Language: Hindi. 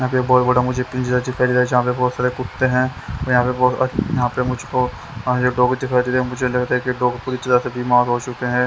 यहां पे एक बहुत बड़ा मुझे पिंजरा दिखाई दे रहा यहां पे बहुत सारे कुत्ते हैं और यहां पे बहुत यहां पे मुझ को अह जो डॉग दिखाई दे रहे हैं मुझे लगता है कि डॉग पूरी तरह से बीमार हो चुके हैं।